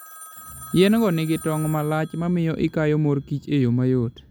Yien-go nigi tong' ma lach mamiyo ikayo mor kich e yo mayot.